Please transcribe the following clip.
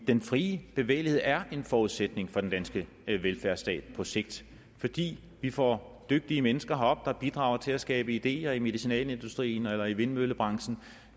den frie bevægelighed er en forudsætning for den danske velfærdsstat på sigt fordi vi får dygtige mennesker herop der bidrager til at skabe ideer i medicinalindustrien eller i vindmøllebranchen